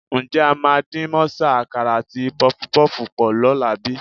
Ǹjẹ́ a máa dín mọ́sà, àkàrà àti pọfupọ́ọ̀fù pọ̀ lọ́la bí?